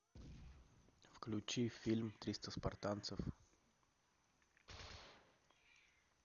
включи фильм триста спартанцев